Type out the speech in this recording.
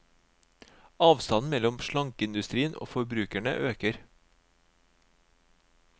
Avstanden mellom slankeindustrien og forbrukerne øker.